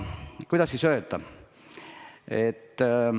Kuidas siis öelda?